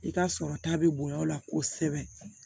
I ka sɔrɔ ta bɛ bonya o la kosɛbɛ